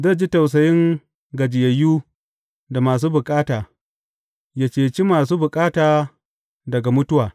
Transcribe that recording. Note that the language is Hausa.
Zai ji tausayin gajiyayyu da masu bukata yă ceci masu bukata daga mutuwa.